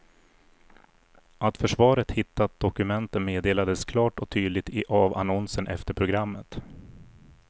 Att försvaret hittat dokumenten meddelades klart och tydligt i avannonsen efter programmet.